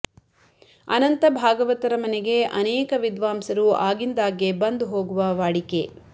ಅನಂತ ಭಾಗವತರ ಮನೆಗೆ ಅನೇಕ ವಿದ್ವಾಂಸರು ಆಗಿಂದಾಗ್ಗೆ ಬಂದು ಹೋಗುವ ವಾಡಿಕೆ